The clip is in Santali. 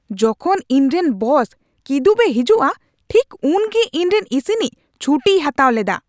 ᱡᱚᱠᱷᱚᱱ ᱤᱧᱨᱮᱱ ᱵᱚᱥ ᱠᱤᱫᱩᱵᱽ ᱮ ᱦᱤᱡᱩᱜᱼᱟ ᱴᱷᱤᱠ ᱩᱱᱜᱮ ᱤᱧᱨᱮᱱ ᱤᱥᱤᱱᱤᱡ ᱪᱷᱩᱴᱤᱭ ᱦᱟᱛᱟᱣ ᱞᱮᱫᱟ ᱾